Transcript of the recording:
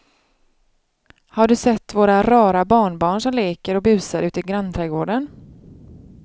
Har du sett våra rara barnbarn som leker och busar ute i grannträdgården!